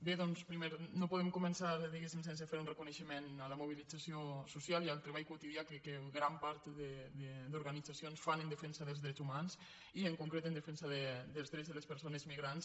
bé doncs no podem començar diguem·ne sense fer un reconeixement a la mobilització social i al treball quotidià que gran part d’organitzacions fan en defensa dels drets humans i en concret en defen·sa dels drets de les persones migrants